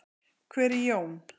Hver er Jón?